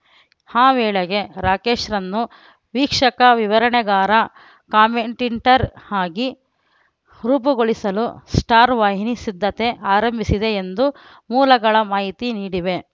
ಆ ವೇಳೆಗೆ ರಾಕೇಶ್‌ರನ್ನು ವೀಕ್ಷಕ ವಿವರಣೆಗಾರ ಕಾಮೆಂಟ್ಟಿಂಟರ್ ಆಗಿ ರೂಪುಗೊಳಿಸಲು ಸ್ಟಾರ್‌ ವಾಹಿನಿ ಸಿದ್ಧತೆ ಆರಂಭಿಸಿದೆ ಎಂದು ಮೂಲಗಳ ಮಾಹಿತಿ ನೀಡಿವೆ